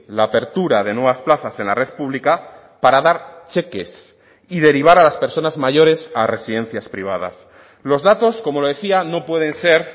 la apertura de nuevas plazas en la red pública para dar cheques y derivar a las personas mayores a residencias privadas los datos como le decía no pueden ser